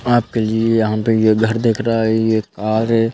आप के लिए यहाँ पे ये घर दिख रहा है ये कार है।